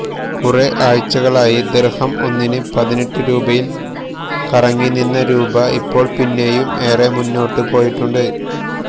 കുറെ ആഴ്ചകളായി ദിര്ഹം ഒന്നിന് പതിനെട്ട് രൂപയില് കറങ്ങിനിന്ന രൂപ ഇപ്പോള് പിന്നെയും ഏറെ മുന്നോട്ട് പോയിട്ടുണ്ട്